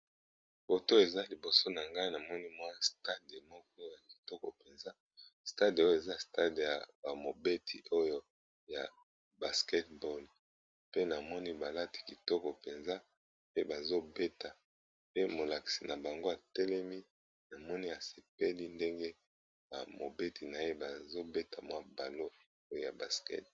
Batu baza liboso na ngai, namoni stade moko ya kitoko penza, stade oyo eza stade ba beti ya basketball pe namoni balati kitoko mpenza pe bazobeta pe molakisi na bango atelemi, namoni asepeli ndenge ba beti na ye bazobeta m balle ya basket.